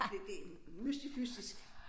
Det det mystifistisk